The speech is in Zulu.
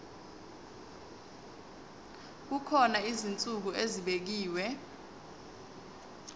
kukhona izinsuku ezibekiwe